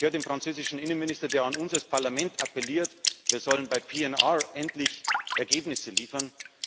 Ich höre den französischen Innenminister, der an uns als Parlament appelliert, wir sollen bei PNR endlich Ergebnisse liefern.